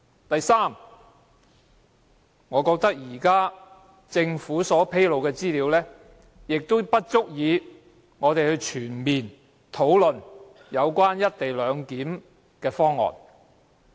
第三，我認為政府現時披露的資料並不足以讓我們全面討論"一地兩檢"方案。